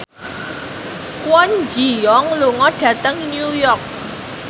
Kwon Ji Yong lunga dhateng New York